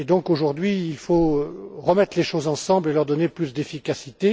Aujourd'hui, il faut donc remettre les choses ensemble et leur donner plus d'efficacité.